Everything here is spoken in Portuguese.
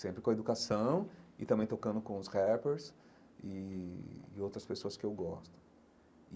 Sempre com a educação e também tocando com os rappers e e outras pessoas que eu gosto e.